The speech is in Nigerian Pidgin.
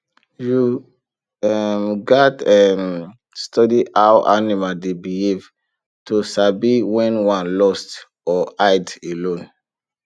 you um gats um study how animal dey behave to sabi when one lost or hide alone